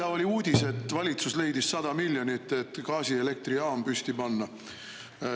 Äsja oli uudis, et valitsus leidis 100 miljonit, et gaasielektrijaam püsti panna.